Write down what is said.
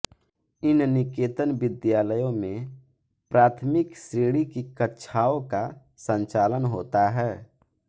इन निकेतन विद्यालयों में प्राथमिक श्रेणी की कक्षाओं का संचालन होता है